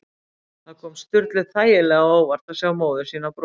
Það kom Sturlu þægilega á óvart að sjá móður sína brosa.